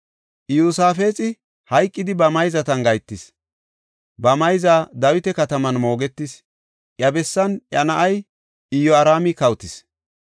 Iyosaafexi hayqidi ba mayzatan gahetis. Ba mayza Dawita Kataman moogetis. Iya bessan iya na7ay Iyoraami kawotis.